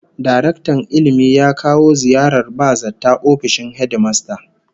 Daraktan Ilmi ya kawo ziyarar ba-zata ofishin hedimasta